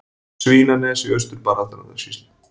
Svínanes í Austur-Barðastrandarsýslu.